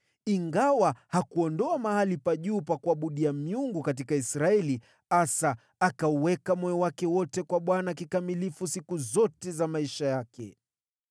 Ijapokuwa hakuondoa mahali pa juu pa kuabudia miungu katika Israeli, moyo wa Asa ulikuwa umejiweka kwa Bwana kikamilifu maisha yake yote.